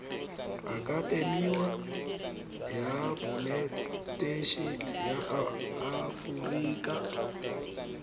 akatemi ya bonetetshi ya aforika